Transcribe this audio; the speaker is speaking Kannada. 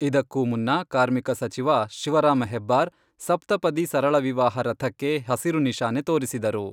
ಇದಕ್ಕೂ ಮುನ್ನ ಕಾರ್ಮಿಕ ಸಚಿವ ಶಿವರಾಮ ಹೆಬ್ಬಾರ್, ಸಪ್ತಪದಿ ಸರಳ ವಿವಾಹ ರಥಕ್ಕೆ ಹಸಿರು ನಿಶಾನೆ ತೋರಿಸಿದರು.